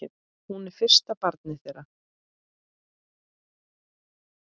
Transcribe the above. Hún er fyrsta barn þeirra.